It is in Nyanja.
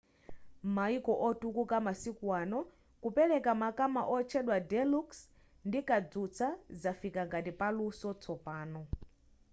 m'mayiko otukuka masiku ano kupereka makama otchedwa deluxe ndi kadzutsa zafika ngati paluso tsopano